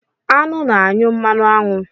Aṅụ na-anyụ mmanụ aṅụ.